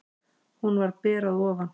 Hún var ber að ofan.